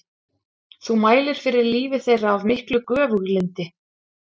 Þú mælir fyrir lífi þeirra af miklu göfuglyndi.